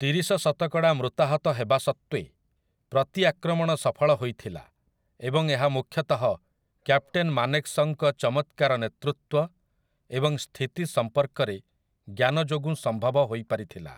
ତିରିଶ ଶତକଡ଼ା ମୃତାହତ ହେବା ସତ୍ତ୍ୱେ, ପ୍ରତିଆକ୍ରମଣ ସଫଳ ହୋଇଥିଲା ଏବଂ ଏହା ମୁଖ୍ୟତଃ କ୍ୟାପଟେନ୍ ମାନେକ୍‌ଶଙ୍କ ଚମତ୍କାର ନେତୃତ୍ୱ ଏବଂ ସ୍ଥିତି ସମ୍ପର୍କରେ ଜ୍ଞାନ ଯୋଗୁଁ ସମ୍ଭବ ହୋଇପାରିଥିଲା ।